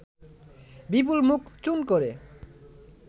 বিপুল মুখ চুন করে